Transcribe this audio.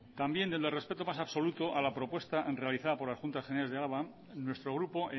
también desde el respeto más absoluto a la propuesta realizada por las juntas generales de álava nuestro grupo